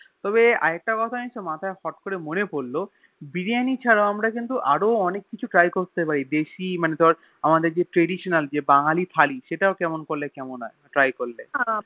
তবে আর একটা কথা মাথায় আছে ফোট্ করে মনেপড়লো বিরিয়ানি ছাড়াও আমরা কিন্তু অনেক কিছু Try করতে পারি দেশি মানে ধরে মানে যে Traditional যে বাঙালি থালি সেটা করলে কেরাম হয়ে Try করলে